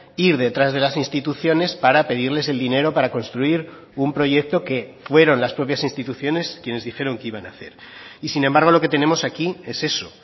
ir detrás de las instituciones para pedirles el dinero para construir un proyecto que fueron las propias instituciones quienes dijeron que iban a hacer y sin embargo lo que tenemos aquí es eso